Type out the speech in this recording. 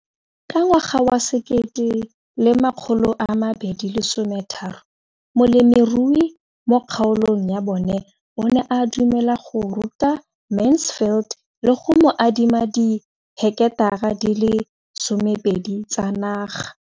Ka ngwaga wa 2013, molemirui mo kgaolong ya bona o ne a dumela go ruta Mansfield le go mo adima di heketara di le 12 tsa naga.